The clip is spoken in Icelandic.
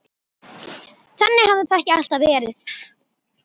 Þannig hafði það ekki alltaf verið.